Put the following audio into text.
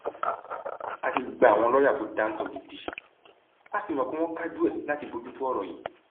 a ti gba àwọn lọọyà tó dáńtọ gidi a sì mọ pé wọn kájú ẹ láti bójú tó ọrọ yìí